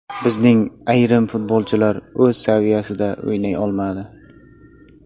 Bizning ayrim futbolchilar o‘z saviyasida o‘ynay olmadi.